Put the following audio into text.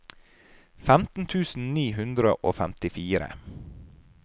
femten tusen ni hundre og femtifire